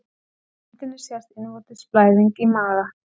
Á myndinni sést innvortis blæðing í maga.